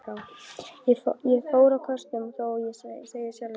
Ég fór á kostum, þó ég segi sjálfur frá.